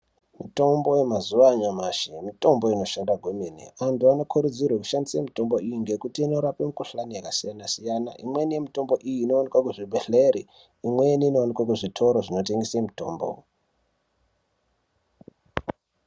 Mitombo yemazuva anyamashi mitombo inoshanda kwemene. Antu anokurudzirwe kushandisa mitombo iyi ngekuti inorape mikuhlani yakasiyana-siyana. Imweni yemitombo iyi inovanikwe kuzvibhedhlere, imweni inovanikwe kuzvitoro zvinotengese mitombo.